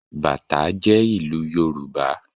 Bàtá jẹ́ ìlù yorùbá